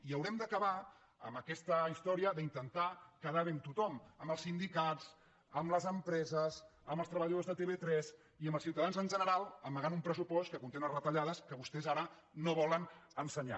i haurem d’acabar amb aquesta història d’intentar quedar bé amb tothom amb els sindicats amb les empreses amb els treballadors de tv3 i amb els ciutadans en general amagant un pressupost que conté unes retallades que vostès ara no volen ensenyar